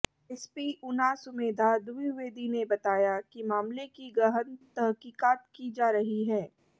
SP Una Sumedha Dwivedi ने बताया कि मामले की गहन तहकीकात की जा रही है